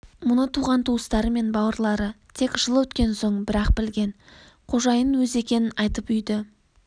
мұны туған-туыстары мен бауырлары тек жыл өткен соң бір-ақ білген қожайын өзі екенін айтып үйді